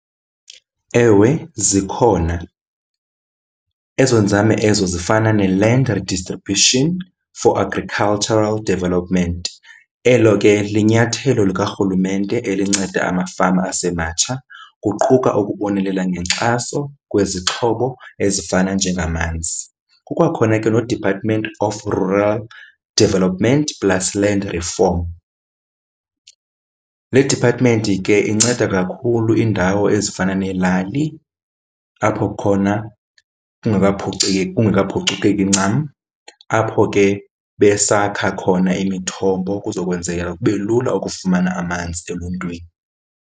Ewe, zikhona. Ezo nzame ezo zifana neLand Redistribution for Agricultural Development. Elo ke linyathelo likarhulumente elinceda amafama asematsha kuquka ukubonelela ngenkxaso kwezixhobo ezifana njengamanzi. Kukwakhona ke noDepartment of Rural Development plus Land Reform. Le department ke inceda kakhulu iindawo ezifana neelali apho khona kungekaphuceki kungekaphucukeki ncam, apho ke besakha khona imithombo kuzokwenzeka kube lula ukufumana amanzi eluntwini.